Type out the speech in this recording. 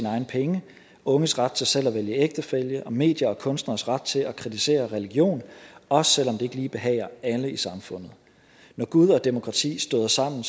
egne penge unges ret til selv at vælge ægtefælle og mediers og kunstneres ret til at kritisere religion også selv om det ikke lige behager alle i samfundet når gud og demokrati støder sammen